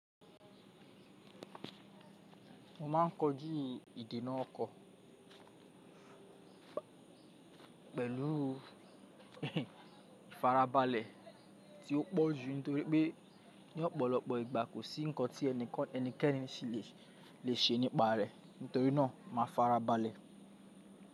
Mo ma ń kojú ìdènà ọkọ̀ pẹ̀lú ìfarabalẹ̀ tí ó pọ̀ jù nítorí pé ní ọ̀pọ̀lọpọ̀ ìgbà kò sí ǹkan tí ẹnikan lè ṣe ní ìpara nítorí náà ma farabalẹ̀.